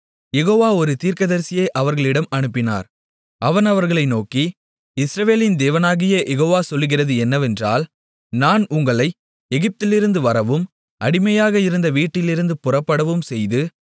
யெகோவா ஒரு தீர்க்கதரிசியை அவர்களிடம் அனுப்பினார் அவன் அவர்களை நோக்கி இஸ்ரவேலின் தேவனாகிய யெகோவா சொல்லுகிறது என்னவென்றால் நான் உங்களை எகிப்திலிருந்து வரவும் அடிமையாக இருந்த வீட்டிலிருந்து புறப்படவும் செய்து